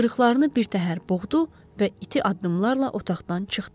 Xışqırıqlarını birtəhər boğdu və iti addımlarla otaqdan çıxdı.